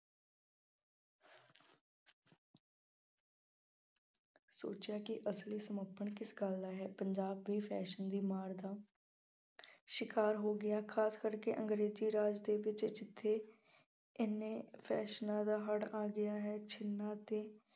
ਸੋਚਿਆ ਕਿ ਅਸਲੀ ਸਮੱਪਣ ਕਿਸ ਗੱਲ ਦਾ ਹੈ। ਪੰਜਾਬ ਦੇ fashion ਦੀ ਮਾਰ ਦਾ ਸ਼ਿਕਾਰ ਹੋ ਗਿਆ। ਖਾਸ ਕਰਕੇ ਅੰਗਰੇਜ਼ੀ ਰਾਜ ਦੇ ਵਿੱਚ ਜਿੱਥੇ ਐਨੇ ਫੈਸ਼ਨਾ ਦਾ ਹੜ੍ਹ ਆ ਗਿਆ ਹੈ। ਛੰਨਿਆਂ ਅਤੇ